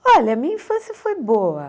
Olha, a minha infância foi boa.